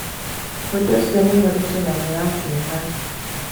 Ũndũ ũcio nĩ mũritũ na nĩ wa kĩeha.